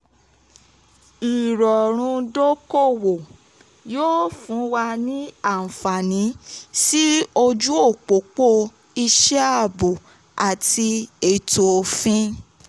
ìrọ̀rùn dókòwó yóò fún wa ní àǹfààní sí ojú òpópó iṣẹ́ àbò àti ètò òfin.